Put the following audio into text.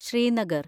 Srinagar